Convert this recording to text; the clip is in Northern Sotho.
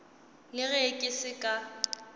le ge ke se ka